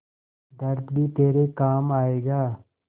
दर्द भी तेरे काम आएगा